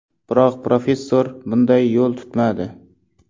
Biroq professor bunday yo‘l tutmadi.